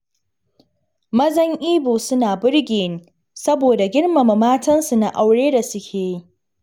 Mazan Ibo suna birge ni, saboda girmama matansu na aure da suke yi